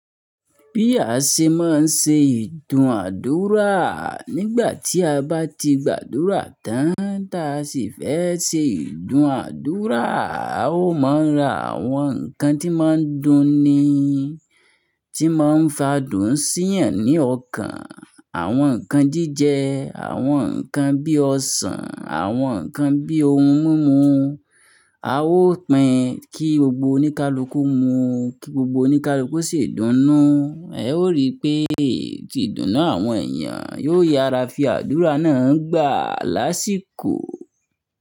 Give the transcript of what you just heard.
Bí a ṣe máa ń ṣe ìdúnàádúrà, nígbà tí a bá ti gbàdúrà tán, ta sì fẹ́ ṣe ìdúnàádúrà, a ó mọ ra àwọn ǹkan tí máa ń dùn ni, tí máa ń fa dùn sí ènìyàn ní ọkàn, àwọn ǹkan jíjẹ, àwọn ǹkan bí ọsàn, àwọn ǹkan bí ohun mímu. A ó pín kí gbogbo oníkálukú mu, kí gbogbo oníkálukú sì dùn nù. Ẹ ó rí i pé tí ìdùnnú àwọn èèyàn yóò yára fi àdúrà náà gbà lásìkò.